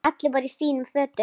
Allir voru í fínum fötum.